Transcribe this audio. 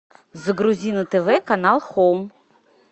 загрузи на тв канал хоум